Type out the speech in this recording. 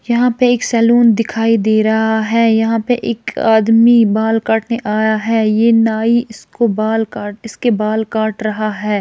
यहाँ पे एक सैलून दिखाई दे रहा है यहाँ पे एक आदमी बाल काटने आया है ये नाई इसको बाल काट इसके बाल काट रहा है।